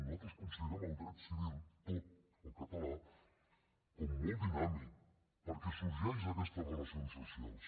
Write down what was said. nosaltres considerem el dret civil tot el català com a molt dinàmic perquè sorgeix d’aquestes relacions socials